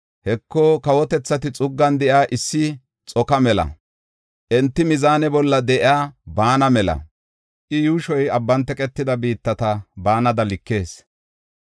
Heko, kawotethati xuggan de7iya issi xoko mela; enti mizaane bolla de7iya baana mela; I yuushoy abban teqetida biittata baanada likes.